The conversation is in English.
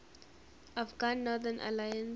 afghan northern alliance